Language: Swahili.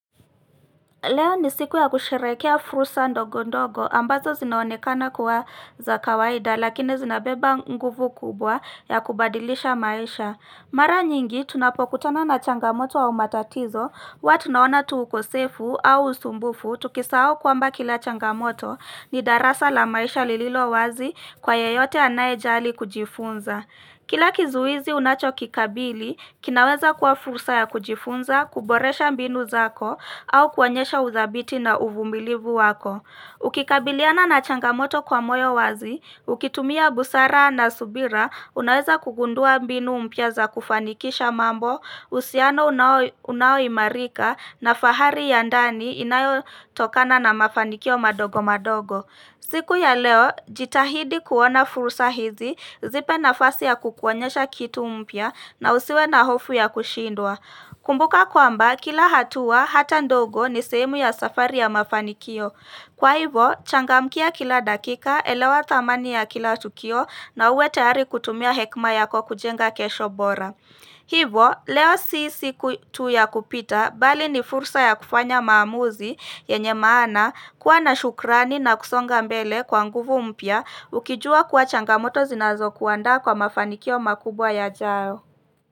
Leo ni siku ya kusherekea fursa ndogo ndogo ambazo zinaonekana kuwa za kawaida lakini zinabeba nguvu kubwa ya kubadilisha maisha. Mara nyingi tunapokutana na changamoto a umatatizo hua tunaona tuukosefu au usumbufu tukisahau kwamba kila changamoto ni darasa la maisha lililo wazi kwa yeyote anaye jali kujifunza. Kila kizuizi unacho kikabili, kinaweza kuwa fursa ya kujifunza, kuboresha mbinu zako, au kuonyesha udhabiti na uvumilivu wako. Ukikabiliana na changamoto kwa moyo wazi, ukitumia busara na subira, unaweza kugundua mbinu mpya za kufanikisha mambo, husiano unao unao imarika na fahari yandani inayo tokana na mafanikio madogo madogo. Siku ya leo, jitahidi kuona fursa hizi zipe na fasi ya kukuonyesha kitu mpya na usiwe na hofu ya kushindwa. Kumbuka kwamba, kila hatua hata ndogo ni sehemu ya safari ya mafanikio. Kwa hivo, changa mkia kila dakika elewa thamani ya kila tukio na uwe tayari kutumia hekma yako kujenga kesho bora. Hivo leo si siku tu ya kupita bali ni fursa ya kufanya maamuzi yenye maana kuwa na shukrani na kusonga mbele kwa nguvu mpya ukijua kuwa changamoto zinazo kuandaa kwa mafanikio makubwa ya jao.